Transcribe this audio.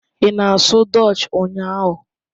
Ị na-asụ Dutch ụnyahụ?